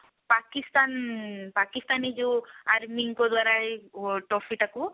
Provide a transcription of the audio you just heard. ପାକିସ୍ତାନ ଉଁ ପାକିସ୍ତାନୀ ଯଉ army ଙ୍କ ଦ୍ଵାରା ଏଇ trophy ଟାକୁ